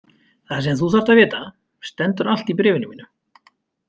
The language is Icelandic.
Það sem þú þarft að vita stendur allt í bréfinu mínu.